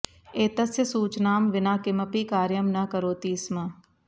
एतस्य सूचनां विना किमपि कार्यं न करोति स्म